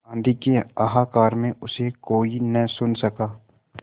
आँधी के हाहाकार में उसे कोई न सुन सका